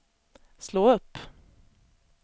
slå upp